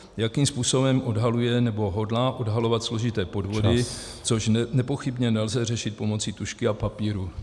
Jakým způsobem odhaluje nebo hodlá odhalovat složité podvody , což nepochybně nelze řešit pomocí tužky a papíru?